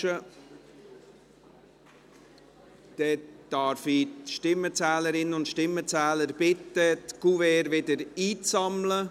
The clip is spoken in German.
Dann darf ich die Stimmenzählerinnen und Stimmenzähler bitten, die Kuverts wieder einzusammeln.